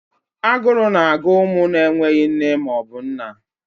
Aguru na agụ umu na enweghị nne maọbu nna.